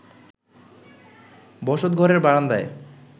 বসতঘরের বারান্দায়